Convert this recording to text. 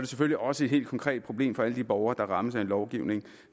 selvfølgelig også et helt konkret problem for alle de borgere der rammes af en lovgivning